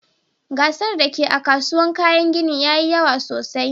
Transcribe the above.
Gasar da ke a'kasuwan kayan ginin yayi yawa sosai.